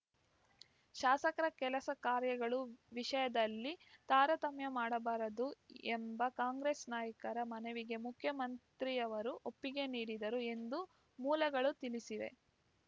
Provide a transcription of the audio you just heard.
ಶಾಸಕರ ಕೆಲಸ ಕಾರ್ಯಗಳ ವಿಷಯದಲ್ಲಿ ತಾರತಮ್ಯ ಮಾಡಬಾರದು ಎಂಬ ಕಾಂಗ್ರೆಸ್‌ ನಾಯಕರ ಮನವಿಗೆ ಮುಖ್ಯಮಂತ್ರಿಯವರು ಒಪ್ಪಿಗೆ ನೀಡಿದರು ಎಂದು ಮೂಲಗಳು ತಿಳಿಸಿವೆ